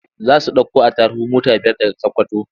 Za su ɗauko attaruhu mota biyar daga Sakkwato.